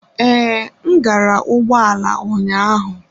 Ee, m gbara ụgbọ ala ụnyaahụ.